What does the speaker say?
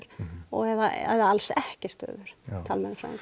eða alls ekki stöður talmeinafræðinga